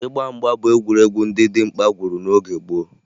Ịgba mgba bụ egwuregwu ndị dimkpa gwuru n'oge gboo